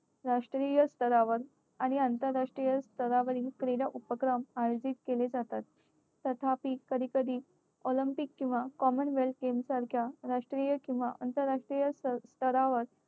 राष्ट्रीय स्तरावर आणि आंतरराष्ट्रीय स्तरावरील क्रीडा उपक्रम आयोजित केले जातात. तथापि कधी कधी olympic किंवा common wealth game सारख्या राष्ट्रीय किंवा आंतरराष्ट्रीय स्तरावर